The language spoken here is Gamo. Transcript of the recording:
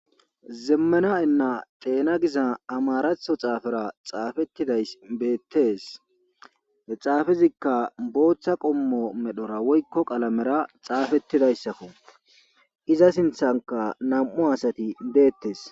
zemmena enna xeena giza amaratho xaafera xaafettiday beettes he xaafezikka booththa qommo medhora woykko qalamera xaafettidayssakko iza sinthanka nam7u asati deettes